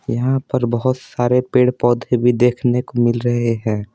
यहाँ पर बहुत सारे पेड़ पौधे भी देखने को मिल रहे हैं।